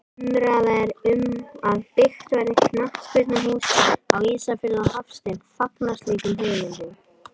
Umræða er um að byggt verði knattspyrnuhús á Ísafirði og Hafsteinn fagnar slíkum hugmyndum.